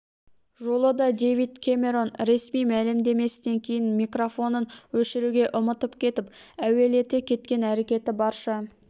жолы да дэвид кэмэрон ресми мәлемдемесінен кейін микрофонын өшіруге ұмытып кетіп әуелете кеткен әрекеті барша